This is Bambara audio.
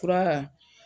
Fura